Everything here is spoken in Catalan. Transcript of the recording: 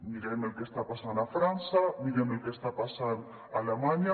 mirem el que està passant a frança mirem el que està passant a alemanya